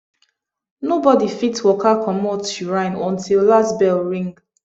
nobody fit waka commot shrine until last bell ring